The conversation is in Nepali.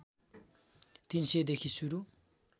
३०० देखि सुरु